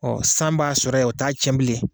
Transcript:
san b'a sɔrɔ yen o t'a tiɲɛ bilen.